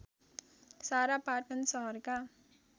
सारा पाटन सहरका